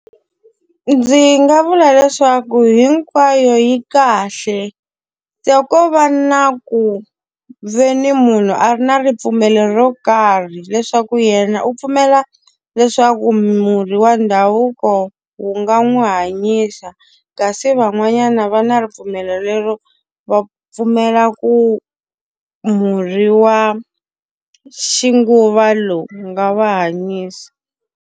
Ndzi nga vula leswaku hinkwayo yi kahle. Ko va na ku ve ni munhu a ri na ripfumelo ro karhi leswaku yena u pfumela leswaku murhi wa ndhavuko wu nga n'wi hanyisa. Kasi van'wanyana va na ripfumelo lero va pfumela ku murhi wa ximanguva lawa wu nga va hanyisa.